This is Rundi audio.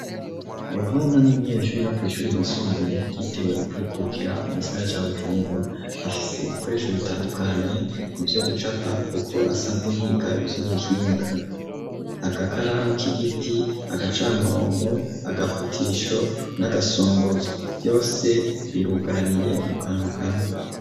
Yohana n'umunyeshure wo kw'ishure ryisumbuye ryitiriwe Ukwikukira mu gisagara ca Bujumbura, afise ibikoresho bitandukanye mu vyo gucapa kuko asanzwe yiga ivy'ubuhinga, agakaramu k'igiti agacamurongo agafutisho n'agasongozo vyose birugaraniye mu kantu kamwe.